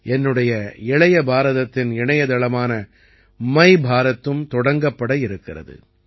என்னுடைய இளைய பாரதத்தின் இணையதளமான MYBharatம் தொடங்கப்பட இருக்கிறது